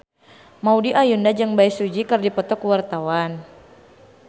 Maudy Ayunda jeung Bae Su Ji keur dipoto ku wartawan